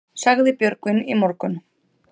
Sagði Björgvin í morgun.